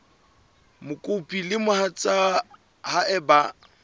mokopi le mohatsa hae ba